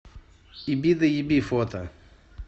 ебидоеби фото